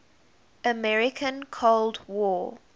american cold war